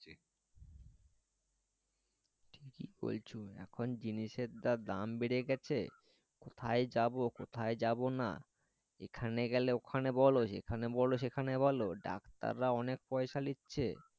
কি বলছো এখন জিনিসের যা দাম বেড়ে গেছে কোথায় যাবো কোথায় যাবো না এখানে গেলে ওখানে বলো সেখানে বলো ওখানে বলো ডাক্তার রাও অনেক পয়সা নিচ্ছে